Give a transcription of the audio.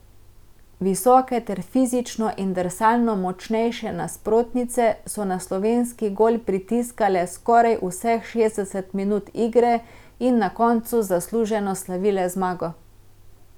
Visoke ter fizično in drsalno močnejše nasprotnice so na slovenski gol pritiskale skoraj vseh šestdeset minut igre in na koncu zasluženo slavile zmago.